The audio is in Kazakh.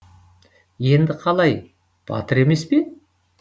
енді қалай батыр емес пе